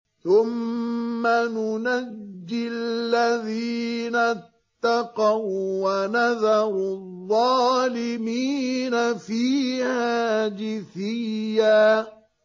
ثُمَّ نُنَجِّي الَّذِينَ اتَّقَوا وَّنَذَرُ الظَّالِمِينَ فِيهَا جِثِيًّا